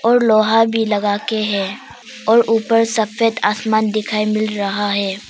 और लोहा भी लगाके हैं और ऊपर सफेद आसमान दिखाई मिल रहा है।